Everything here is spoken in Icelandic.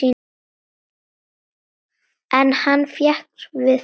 En hann fékkst við fleira.